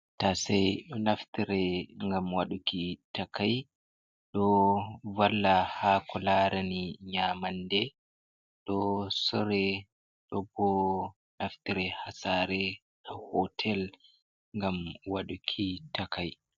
Ta sai naftire gam waduki takai, do valla ha ko larani nyamande do sure tobo naftire hasare ha hotel ngam waduki takai.